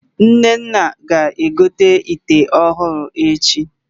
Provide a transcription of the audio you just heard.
Nnenna ga-egote ịte ọhụrụ echi